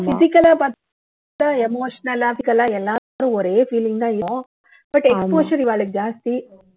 physical ஆ பாத்தா emotional, logical ஆ எல்லாரும் ஒரே feeling தான் இருக்கும் ஆனா exposure இவாளுக்கு ஜாஸ்தி